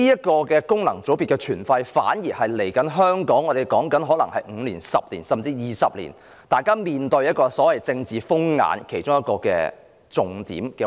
其實，功能界別的存廢，可能是香港接下來的5年、10年，甚至20年要面對的所謂"政治風眼"的其中一環。